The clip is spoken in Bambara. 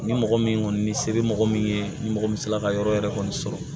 Ni mɔgɔ min kɔni ni se bɛ mɔgɔ min ye ni mɔgɔ min sela ka yɔrɔ yɛrɛ kɔni sɔrɔ